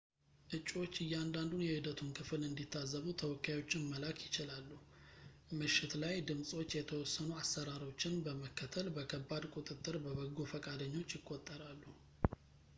እጩዎች እያንዳንዱን የሂደቱን ክፍል እንዲታዘቡ ተወካዮችን መላክ ይችላሉ ምሽት ላይ ድምፆች የተወሰኑ አሰራሮችን በመከተል በከባድ ቁጥጥር በበጎ ፈቃደኞች ይቆጠራሉ